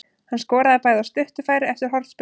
Hann skoraði bæði af stuttu færi eftir hornspyrnur.